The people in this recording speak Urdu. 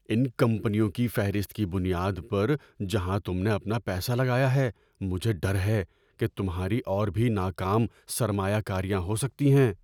ان کمپنیوں کی فہرست کی بنیاد پر جہاں تم نے اپنا پیسہ لگایا ہے، مجھے ڈر ہے کہ تمہاری اور بھی ناکام سرمایہ کاریاں ہو سکتی ہیں۔